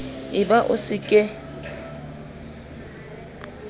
e ba o se ke